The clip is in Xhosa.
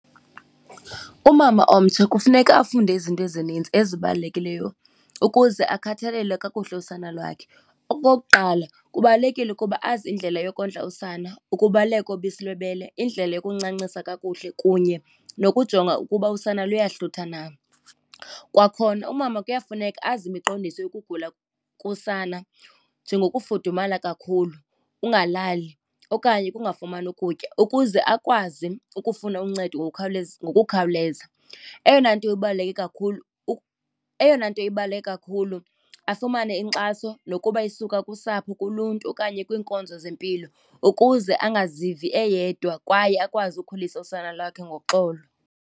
Umama omtsha kufuneka afunde izinto ezinintsi ezibalulekileyo ukuze akhathalele kakuhle usana lwakhe. Okokuqala, kubalulekile ukuba azi indlela yokondla usana, ukubaluleka kobisi lwebele, indlela yokuncancisa kakuhle kunye nokujonga ukuba usana luyahlutha na. Kwakhona umama kuyafuneka azi imiqondiso yokugula kosana njengokufudumala kakhulu, ungalali okanye ukungafumani ukutya, ukuze akwazi ukufuna uncedo ngokukhawuleza. Eyona nto ibaluleke kakhulu eyona nto ibaluleke kakhulu afumane inkxaso nokuba isuka kusapho, kuluntu okanye kwiinkonzo zempilo, ukuze angazivi eyedwa kwaye akwazi ukukhulisa usana lwakhe ngoxolo.